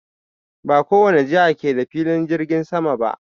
Ba kowane jiha ke da filin jirgin sama ba.